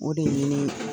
O de ye